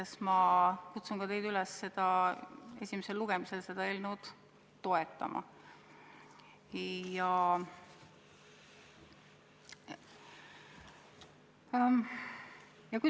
Ja ma kutsun ka teid üles esimesel lugemisel seda eelnõu toetama.